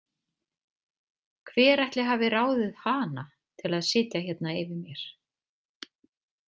Hver ætli hafi ráðið hana til að sitja hérna yfir mér?